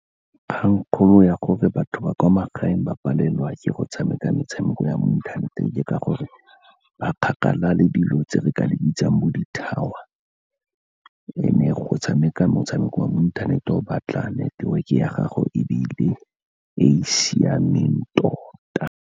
Kgang kgolo ya gore batho ba kwa magaeng ba palelwa ke go tshameka metshameko ya mo inthaneteng, ke ka gore ba kgakala le dilo tse re ka di bitsang bo ditower and-e go tshameka motshameko wa mo inthaneteng o batla neteweke ya gago e be e le e siameng tota.